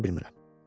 apara bilmirəm.